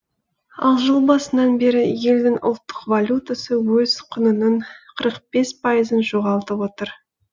ал жыл басынан бері елдің ұлттық валютасы өз құнының қырық бес пайызын жоғалтып отыр